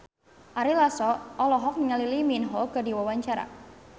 Ari Lasso olohok ningali Lee Min Ho keur diwawancara